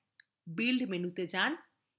build মেনুতে যান